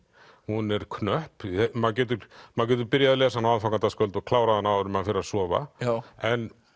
hún er knöpp maður getur maður getur byrjað á aðfangadagskvöld og klárað hana áður en maður fer að sofa en